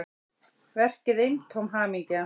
Verkið eintóm hamingja